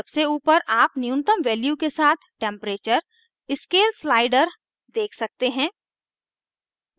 सबसे ऊपर आप न्यूनतम value के साथ temperature k: scale slider देख सकते हैं